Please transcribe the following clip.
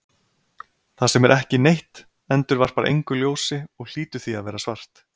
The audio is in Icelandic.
Það sem er ekki neitt endurvarpar engu ljósi og hlýtur því að vera svart.